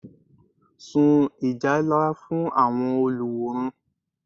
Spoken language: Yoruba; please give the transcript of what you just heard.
Sun Ìjálá fún àwọn olùwòran